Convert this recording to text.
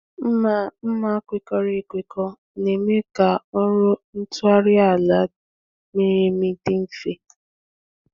Mma mma kwekọrọ ekwekọ na-eme ka ọrụ ịtụgharị ala miri emi dị mfe.